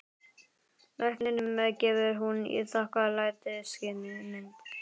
Lækninum gefur hún í þakklætisskyni mynd.